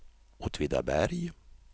Åtvidaberg